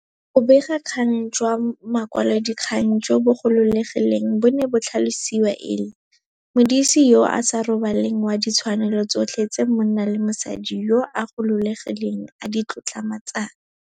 Bobegakgang jwa makwalodikgang jo bo gololegileng bo ne bo tlhalosiwa e le 'modisi yo a sa robaleng wa ditshwanelo tsotlhe tse monna le mosadi yo a gololegileng a di tlotlomatsang'.